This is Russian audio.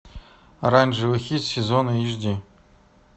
оранжевый хит сезона эйч ди